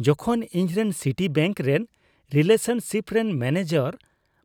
ᱡᱚᱠᱷᱚᱱ ᱤᱧᱨᱮᱱ ᱥᱤᱴᱤᱵᱮᱝᱠ ᱨᱮᱱ ᱨᱤᱞᱮᱥᱚᱱᱥᱤᱯ ᱨᱮᱱ ᱢᱮᱱᱮᱡᱟᱨ